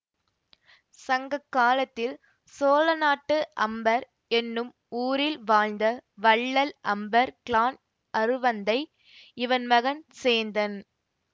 சங்க காலத்தில் சோழநாட்டு அம்பர் என்னும் ஊரில் வாழ்ந்த வள்ளல் அம்பர் கிழான் அருவந்தை இவன் மகன் சேந்தன்